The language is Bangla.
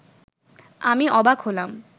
আমি অবাক হলাম